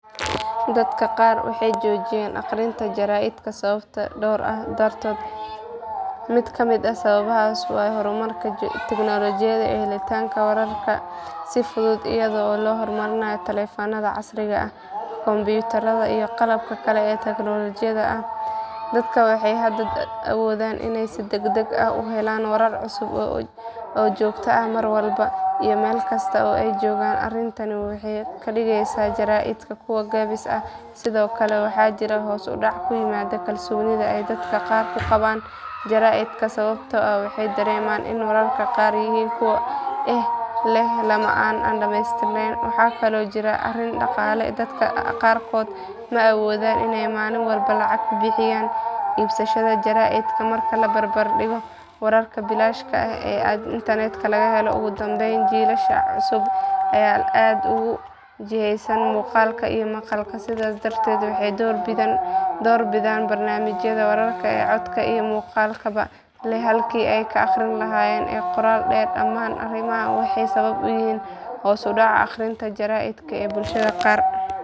Dadka qaar waxay joojiyeen akhrinta jaraa'idka sababo dhowr ah dartood mid ka mid ah sababahaas waa horumarka tignoolajiyada iyo helitaanka wararka si fudud iyada oo loo marayo taleefannada casriga ah kombiyuutarada iyo qalabka kale ee elektaroonigga ah dadka waxay hadda awoodaan inay si degdeg ah u helaan warar cusub oo joogto ah mar walba iyo meel kasta oo ay joogaan arrintani waxay ka dhigaysaa jaraa’idka kuwo gaabis ah sidoo kale waxaa jira hoos u dhac ku yimid kalsoonida ay dadka qaar ku qabaan jaraa’idka sababtoo ah waxay dareemaan in wararka qaar yihiin kuwo eex leh ama aan dhamaystirnayn waxaa kaloo jirta arrin dhaqaale dadka qaarkood ma awoodaan inay maalin walba lacag ku bixiyaan iibsashada jaraa’id marka la barbar dhigo wararka bilaashka ah ee internetka laga helo ugu dambayn jiilasha cusub ayaa aad ugu jihaysan muuqaalka iyo maqalka sidaas darteed waxay door bidaan barnaamijyada wararka ee codka iyo muuqaalkaba leh halkii ay ka akhrin lahaayeen qoraal dheer dhammaan arrimahan waxay sabab u yihiin hoos u dhaca akhrinta jaraa’idka ee bulshada qaar.